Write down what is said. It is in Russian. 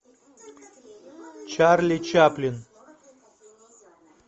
чарли чаплин